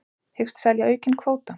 Hyggst selja aukinn kvóta